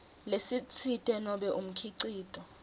lesitsite nobe umkhicito